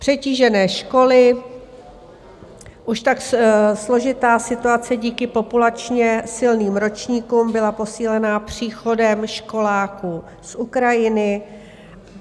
Přetížené školy: Už tak složitá situace díky populačně silným ročníkům byla posílena příchodem školáků z Ukrajiny.